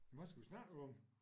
Hvad skal vi snakke om?